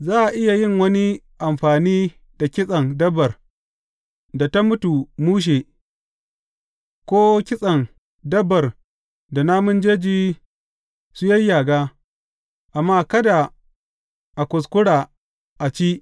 Za a iya yin wani amfani da kitsen dabbar da ta mutu mushe, ko kitsen dabbar da namun jeji su yayyaga, amma kada a kuskura a ci.